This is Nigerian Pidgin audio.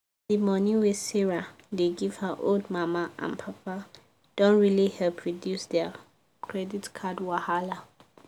the money wey sarah dey give her old mama and papa don really help reduce their credit card wahala.